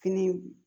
Fini